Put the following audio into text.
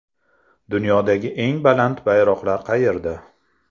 Dunyodagi eng baland bayroqlar qayerda?